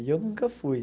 E eu nunca fui.